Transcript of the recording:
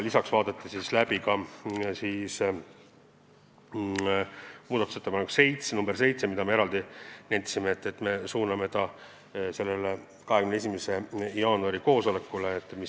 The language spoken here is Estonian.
Lisaks arutasime muudatusettepanekut nr 7, mille olime varem otsustanud suunata arutamiseks sellel 21. jaanuari koosolekul.